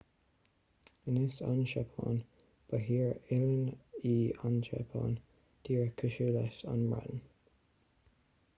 anois an tseapáin ba thír oileáin í an tseapáin díreach cosúil leis an mbreatain